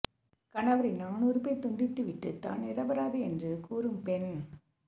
கணவரின் ஆணுறுப்பை துண்டித்து விட்டு தான் நிரபராதி என்று கூறும் பெண்